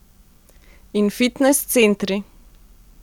In fitnes centri.